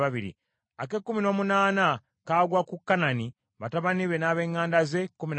ak’ekkumi n’omwenda kagwa ku Mallosi, batabani be n’ab’eŋŋanda ze, kkumi na babiri;